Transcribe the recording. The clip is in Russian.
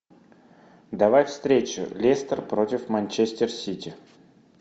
давай встречу лестер против манчестер сити